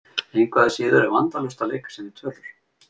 Engu að síður er vandalaust að leika sér með tölur.